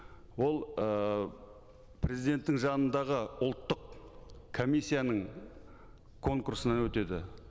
ол ыыы президенттің жанындағы ұлттық комиссияның конкурсынан өтеді